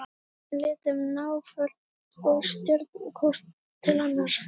Við systkinin lítum náföl og stjörf hvort til annars.